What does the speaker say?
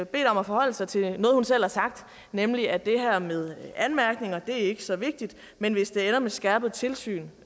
bedt om at forholde sig til noget hun selv har sagt nemlig at det her med anmærkninger ikke er så vigtigt men hvis det ender med skærpet tilsyn